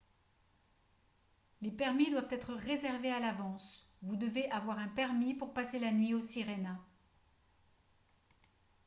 les permis doivent être réservés à l'avance vous devez avoir un permis pour passer la nuit au sirena